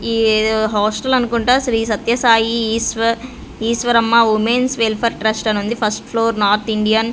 ఈ ఏదో హాస్టల్ అనుకుంటా Shri Satya Sai Eshwar Eshwaramma women's welfare trust అనుంది ఫస్ట్ ఫ్లోర్ నార్త్ ఇండియన్ .